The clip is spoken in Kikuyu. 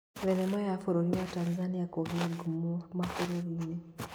Thenema ya bũrũri wa Tanzania kũgĩa ngumo mabũrũri-inĩ